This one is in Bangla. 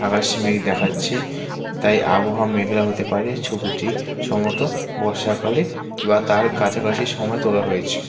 আকাশে মেঘ দেখা যাচ্ছে তাই আবহাওয়া মেঘলা হতে পারে ছবিটি সম্ভবত বর্ষাকালে বা তার কাছাকাছি সময়ে তোলা হয়েছে।